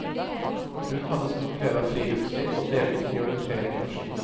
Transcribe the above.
Hun hadde stor glede av friluftsliv og deltok i orientering og ski.